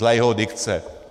Dle jeho dikce.